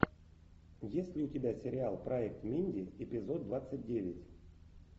есть ли у тебя сериал проект минди эпизод двадцать девять